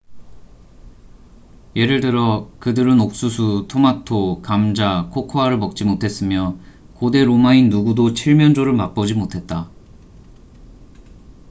예를 들어 그들은 옥수수 토마토 감자 코코아를 먹지 못했으며 고대 로마인 누구도 칠면조를 맛보지 못했다